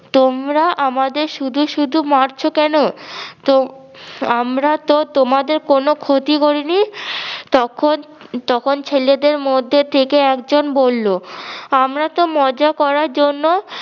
তোমরা আমাদের শুধু শুধু মারছো কেন? তোম~ আমরা তো তোমাদের কোনো ক্ষতি করি নি! তখন তখন ছেলেদের মধ্যে থেকে একজন বললো- আমরা তো মজা করার জন্য